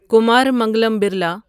Kumar Mangalam Birla